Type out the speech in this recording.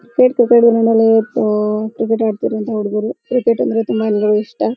Cricket ಅಹ್ cricket ಆಡ್ತಿರುವಂಥ ಹುಡುಗೂರು. ಕ್ರಿಕೆಟ್ ಅಂದ್ರೆ ತುಂಬಾ ಎಲ್ಲರಿಗು ಇಷ್ಟ .